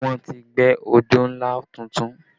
Wọ́n ti gbẹ́ odó ńlá tuntun